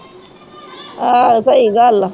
ਆਹ ਸਹੀ ਗੱਲ ਆ